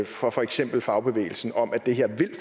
fra for eksempel fagbevægelsen om at det her